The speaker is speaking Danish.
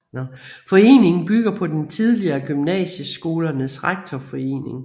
Foreningen bygger på den tidligere Gymnasieskolernes Rektorforening